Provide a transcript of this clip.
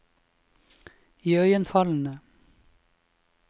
iøynefallende